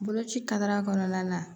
Boloci kadara kɔnɔna na